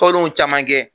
Tɔndenw caman kɛ